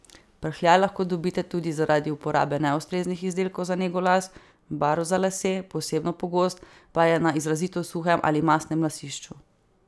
Prhljaj lahko dobite tudi zaradi uporabe neustreznih izdelkov za nego las, barv za lase, posebno pogost pa je na izrazito suhem ali mastnem lasišču.